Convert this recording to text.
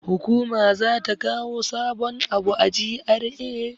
Hukuma za ta kawo sabun abu a GRA.